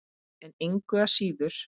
En engu að síður.